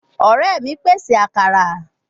Ore mi pese akara